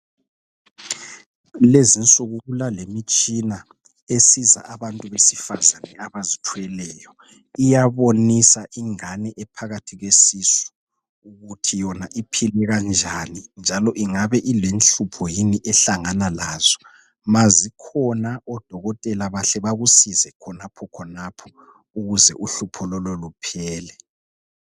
Kulezinsuku kulalemitshina esiza abantu besifazane abazithweleyo. Iyabonisa ingane ephakathi kwesisu ukuthi yona iphile kanjani njalo ingabe ilenhlupho yini ehlangana lazo ma zikhona odokotela bahle bakusize khonaphokhonapho ukuze uhlupho lolo luphele.